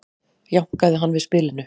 jánkaði hann við spilinu